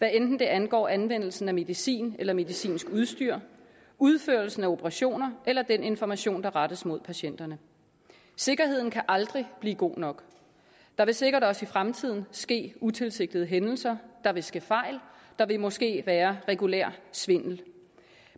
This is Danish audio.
enten det angår anvendelsen af medicin eller medicinsk udstyr udførelsen af operationer eller den information der rettes mod patienterne sikkerheden kan aldrig blive god nok der vil sikkert også i fremtiden ske utilsigtede hændelser der vil ske fejl der vil måske være regulær svindel